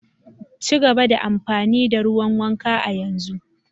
Ci gaba da amfani da ruwan wanka a yanzu.